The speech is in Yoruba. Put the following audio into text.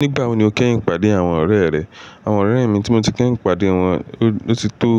Nígbà wo ni o kẹ́yìn pàdé àwọn ọ̀rẹ́ rẹ? Àwọn ọ̀rẹ́ mi tí mo ti kẹ́yìn pàdé wọn ó ti tó